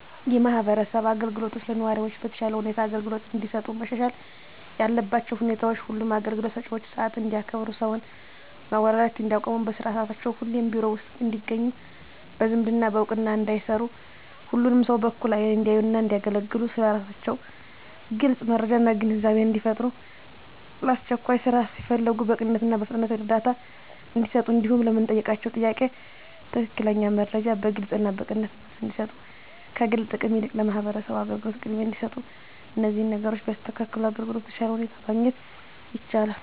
የማህበረሰብ አገልግሎቶች ለነዋሪዎች በተሻለ ሁኔታ አገልግሎት እንዲሰጡ መሻሻል ያለባቸው ሁኔታዎች ሁሉም አገልግሎት ሰጭዎች ሰዓት እንዲያከብሩ ሰውን ማጉላላት እንዲያቆሙ በስራ ሰዓታቸው ሁሌም ቢሮ ውስጥ እንዲገኙ በዝምድና በእውቅና እንዳይሰሩ ሁሉንም ሰው በእኩል አይን እንዲያዩና እንዲያገለግሉ ስለ ስራቸው ግልጽ መረጃና ግንዛቤን እንዲፈጥሩ ለአስቸኳይ ስራ ሲፈለጉ በቅንነትና በፍጥነት እርዳታ እንዲሰጡ እንዲሁም ለምንጠይቃቸው ጥያቄ ትክክለኛ መረጃ በግልጽና በቅንነት መልስ እንዲሰጡ ከግል ጥቅም ይልቅ ለማህበረሰቡ አገልግሎት ቅድሚያ እንዲሰጡ እነዚህን ነገሮች ቢያስተካክሉ አገልግሎት በተሻለ ሁኔታ ማግኘት ይቻላል።